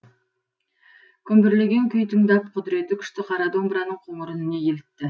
күмбірлеген күй тыңдап құдіреті күшті қара домбыраның қоңыр үніне елітті